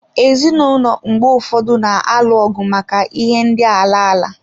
Ezinụlọ mgbe ụfọdụ na-alụ ọgụ maka ihe ndị ala ala.